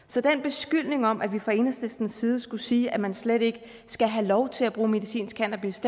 så den beskyldning om at vi fra enhedslistens side skulle sige at man slet ikke skal have lov til at bruge medicinsk cannabis